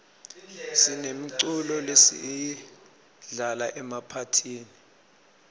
sinemiculo lesiyidlala emaphathini